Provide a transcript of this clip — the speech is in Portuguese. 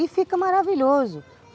E fica maravilhoso.